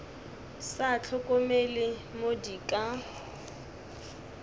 sa hlokomele mo di ka